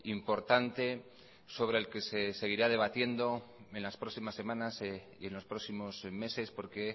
importante sobre el que seguirá debatiendo en las próximas semanas y en los próximos meses porque